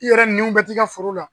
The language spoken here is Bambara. I yɛrɛ nɛniw bɛ t'i ka foro la